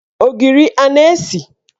Ogiri a na-esi?